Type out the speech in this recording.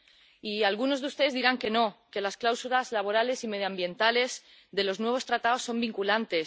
Y algunos de ustedes dirán que no, que las cláusulas laborales y medioambientales de los nuevos tratados son vinculantes.